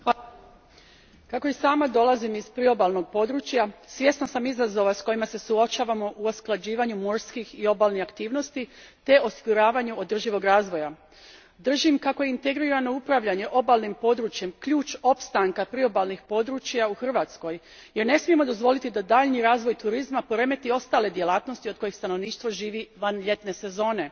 Gospodine predsjedniče, kako i sama dolazim iz priobalnog područja, svjesna sam izazova s kojima se suočavamo u usklađivanju morskih i obalnih aktivnosti te osiguravanju održivog razvoja. Držim kako je integrirano upravljanje obalnim područjem ključ opstanka priobalnih područja u Hrvatskoj jer ne smijemo dozvoliti da daljnji razvoj turizma poremeti ostale djelatnosti od kojih stanovništvo živi van ljetne sezone.